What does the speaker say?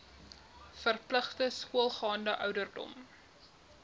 verpligte skoolgaande ouderdom